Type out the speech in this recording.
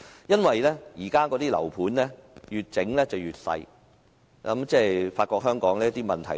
由於現今的住宅單位越建越小——我發覺香港